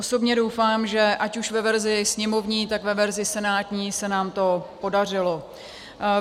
Osobně doufám, že ať už ve verzi sněmovní, tak ve verzi senátní se nám to podařilo.